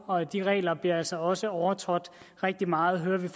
og de regler bliver altså også overtrådt rigtig meget det